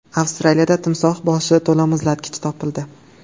Avstraliyada timsoh boshi to‘la muzlatgich topildi.